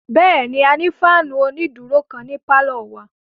Bẹ́ẹ̀ni, a ní fáànù onídúró kan ní pálọ̀ wa